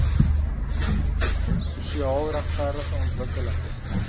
sosiaal regverdige ontwikkelings